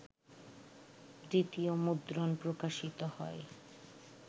দ্বিতীয় মুদ্রণ প্রকাশিত হয়